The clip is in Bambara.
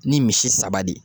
Ni misi saba de ye